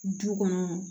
Du kɔnɔ